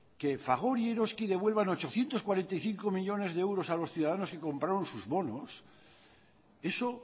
que fagor y eroski devuelvan ochocientos cuarenta y cinco millónes de euros a los ciudadanos que compraron sus bonos eso